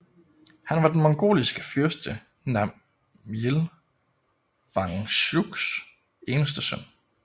Han var den mongliske fyrste Namjil Wangchuks eneste søn